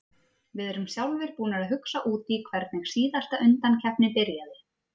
Við erum sjálfir búnir að hugsa út í hvernig síðasta undankeppni byrjaði.